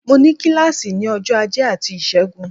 Mo ní kílàsì ní ọjọ́ ajé àti ìṣẹ́gun